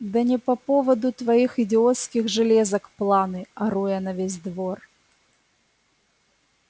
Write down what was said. да не по поводу твоих идиотских железок планы ору я на весь двор